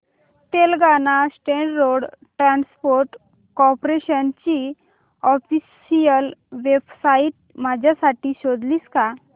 Telangana state road transport corporation ची official website माझ्यासाठी शोधशील का